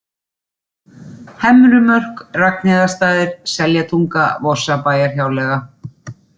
Hemrumörk, Ragnheiðarstaðir, Seljatunga, Vorsabæjarhjáleiga